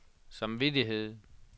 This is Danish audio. samvittighed